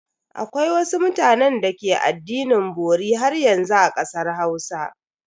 Akwai wasu mutanen da ke addinin bori haryanzu a kasar Hausa.